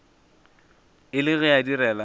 e le ge a direla